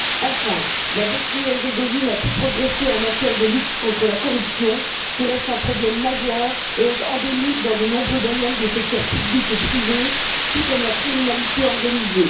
Enfin, la Bosnie Herzégovine a peu progressé en matière de lutte contre la corruption, qui reste un problème majeur et est endémique dans de nombreux domaines des secteurs publics et privés, tout comme la criminalité organisée.